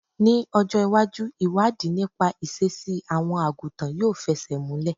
Ní ọjọ́ ìwájú, ìwádìí nípa ìṣesí àwọn àgùntàn yóò fẹsẹ̀ múlè.